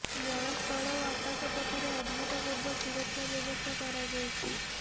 ଜଳ ସ୍ଥଳ ଓ ଆକାଶପଥରେ ଅଭୂତପୂର୍ବ ସୁରକ୍ଷା ବ୍ୟବସ୍ଥା କରାଯାଇଛି